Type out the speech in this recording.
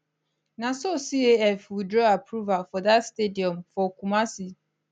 na so caf withdraw approval for dat stadium for kumasi